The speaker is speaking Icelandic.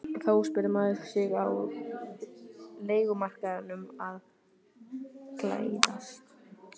Þá spyr maður sig er leigumarkaðurinn að glæðast?